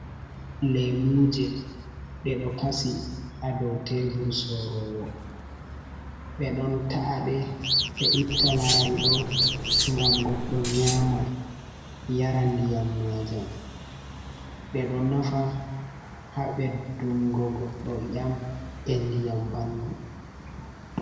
"Lemuje" ɗe ɗo kasi ha ɗow tebur sorowo ɓe ɗon ta’ade ɓe itta laral ɗo ngam goɗɗo nyama yara ndiyam majam ɓe ɗo nafa ha ɓeddugo goɗɗo i'yam be ndiyam ɓandu.